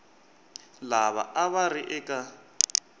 lava a va ri eka